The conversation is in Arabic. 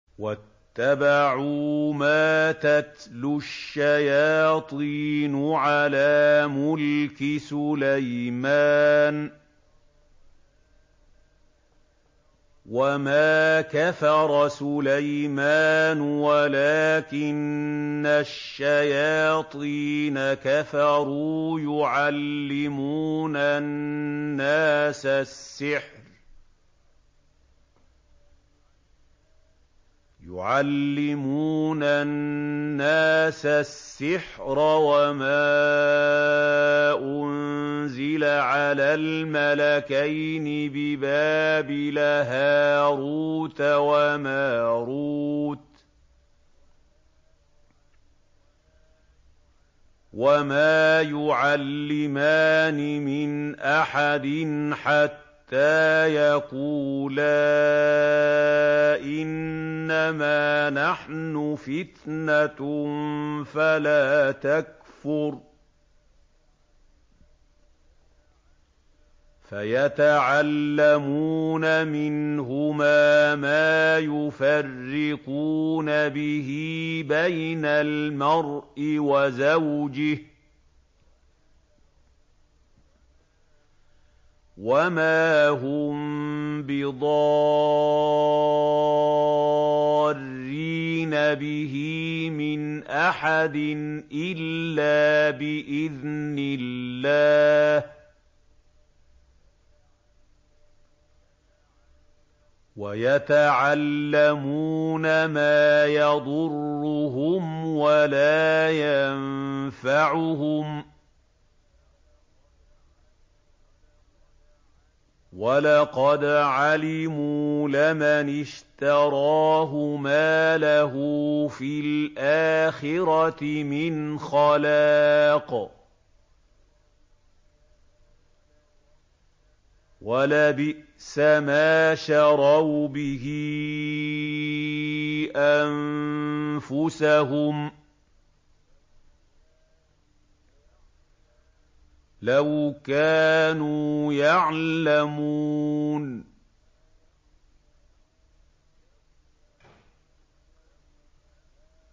وَاتَّبَعُوا مَا تَتْلُو الشَّيَاطِينُ عَلَىٰ مُلْكِ سُلَيْمَانَ ۖ وَمَا كَفَرَ سُلَيْمَانُ وَلَٰكِنَّ الشَّيَاطِينَ كَفَرُوا يُعَلِّمُونَ النَّاسَ السِّحْرَ وَمَا أُنزِلَ عَلَى الْمَلَكَيْنِ بِبَابِلَ هَارُوتَ وَمَارُوتَ ۚ وَمَا يُعَلِّمَانِ مِنْ أَحَدٍ حَتَّىٰ يَقُولَا إِنَّمَا نَحْنُ فِتْنَةٌ فَلَا تَكْفُرْ ۖ فَيَتَعَلَّمُونَ مِنْهُمَا مَا يُفَرِّقُونَ بِهِ بَيْنَ الْمَرْءِ وَزَوْجِهِ ۚ وَمَا هُم بِضَارِّينَ بِهِ مِنْ أَحَدٍ إِلَّا بِإِذْنِ اللَّهِ ۚ وَيَتَعَلَّمُونَ مَا يَضُرُّهُمْ وَلَا يَنفَعُهُمْ ۚ وَلَقَدْ عَلِمُوا لَمَنِ اشْتَرَاهُ مَا لَهُ فِي الْآخِرَةِ مِنْ خَلَاقٍ ۚ وَلَبِئْسَ مَا شَرَوْا بِهِ أَنفُسَهُمْ ۚ لَوْ كَانُوا يَعْلَمُونَ